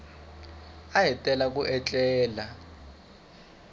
a hi tala ku etlela